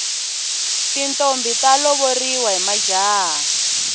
tintombhi ta lovoriwa hi majaha